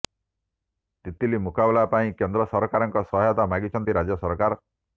ତିତଲି ମୁକାବିଲା ପାଇଁ କେନ୍ଦ୍ର ସରକାରଙ୍କ ସହାୟତା ମାଗିଛନ୍ତି ରାଜ୍ୟ ସରକାର